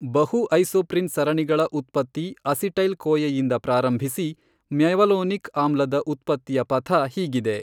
ಬಹುಐಸೊಪ್ರಿನ್ ಸರಣಿಗಳ ಉತ್ಪತ್ತಿ ಅಸಿಟೈಲ್ ಕೋಯೆಯಿಂದ ಪ್ರಾರಂಭಿಸಿ ಮ್ಯವಲೋನಿಕ್ ಆಮ್ಲದ ಉತ್ಪತ್ತಿಯ ಪಥ ಹೀಗಿದೆ